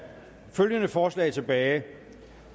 følgende forslag tilbage